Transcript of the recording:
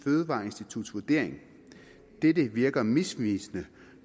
fødevareinstituttets vurdering dette virker misvisende